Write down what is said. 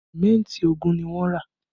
Símẹ́ntì ogún ni wọ́n rà